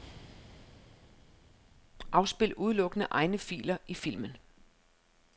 Afspil udelukkende egne filer i filmen.